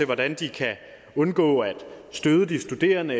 hvordan de kan undgå at støde de studerende